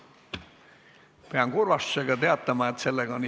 Pean kurvastusega teatama, et istung on lõppenud.